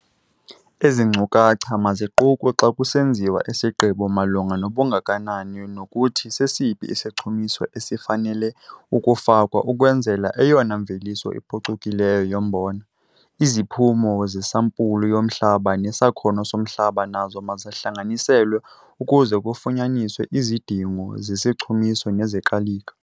Ezi nkcukacha maziqukwe xa kusenziwa isigqibo malunga nobungakanani nokuthi sesiphi isichumiso esifanele ukufakwa ukwenzela eyona mveliso iphucukileyo yombona. Iziphumo zesampulu yomhlaba nesakhono somhlaba nazo mazihlanganiselwe ukuze kufunyaniswe izidingo zesichumiso nezekalika.